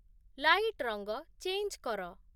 light ରଙ୍ଗ change କର